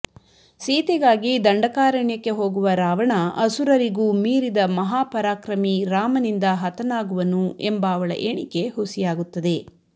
ಸೀತೆಗಾಗಿ ದಂಡಕಾರಣ್ಯಕ್ಕೆ ಹೋಗುವ ರಾವಣ ಅಸುರರಿಗೂ ಮೀರಿದ ಮಹಾಪರಾಕ್ರಮಿ ರಾಮನಿಂದ ಹತನಾಗುವನು ಎಂಬ ಅವಳ ಎಣಿಕೆ ಹುಸಿಯಾಗುತ್ತದೆ